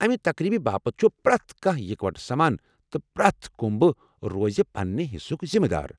امہ تقریب باپت چُھ پرٛٮ۪تھ کانٛہہ اکوٹہٕ سمان ، تہٕ پرٛٮ۪تھ کُمبہٕ روزِ پننہِ حصُک ذِمہٕ دار۔